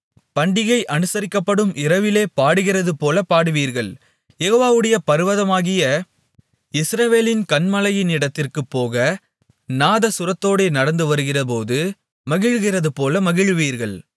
பண்டிகை அனுசரிக்கப்படும் இரவிலே பாடுகிறதுபோலப் பாடுவீர்கள் யெகோவாவுடைய பர்வதமாகிய இஸ்ரவேலின் கன்மலையினிடத்திற்குப்போக நாதசுரத்தோடே நடந்து வருகிறபோது மகிழ்கிறதுபோல மகிழுவீர்கள்